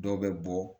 Dɔw bɛ bɔ